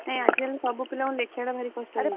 ନାଇଁ ଆଜି କାଲି ସବୁ ପିଲାଙ୍କ ଲେଖିବା ଟା କଷ୍ଟ ହଉଛି ।